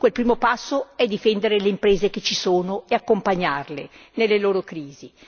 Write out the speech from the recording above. dunque il primo passo è difendere le imprese che ci sono e accompagnarle nella crisi.